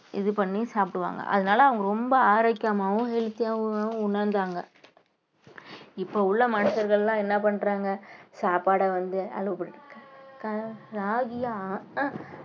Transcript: இது பண்ணி சாப்பிடுவாங்க அதனால அவங்க ரொம்ப ஆரோக்கியமாவும் healthy ஆவும் உணர்ந்தாங்க இப்ப உள்ள மனுஷர்கள் எல்லாம் என்ன பண்றாங்க சாப்பாட வந்து